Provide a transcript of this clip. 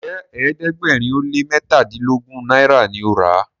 Njé ẹ̀ẹ́dẹ̀gbẹ̀rin o lẹ mẹtadilogun náírà ní o rà?